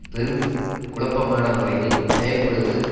பெரும் குழப்பமான முறையில் செயல்படுவது